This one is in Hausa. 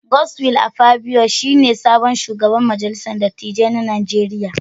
Godswill Akpabio shi ne sabon shugaban majalisar dattijai na Najeriya.